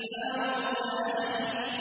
هَارُونَ أَخِي